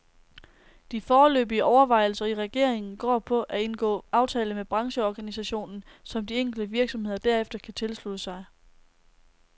De foreløbige overvejelser i regeringen går på at indgå aftale med brancheorganisationen, som de enkelte virksomheder derefter kan tilslutte sig.